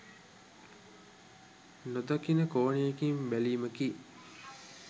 නොදකින කෝණයකින් බැලීමකි.